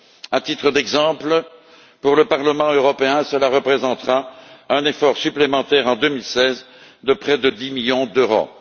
À titre d'exemple, pour le Parlement européen, cela représentera un effort supplémentaire, en 2016, de près de 10 millions d'euros.